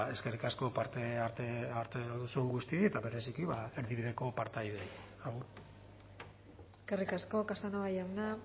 eskerrik asko parte hartu duzuen guztiei eta bereziki erdibideko partaideei eskerrik asko casanova jauna